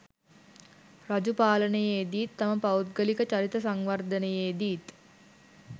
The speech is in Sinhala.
රජු පාලනයේදීත් තම පෞද්ගලික චරිත සංවර්ධනයේදීත්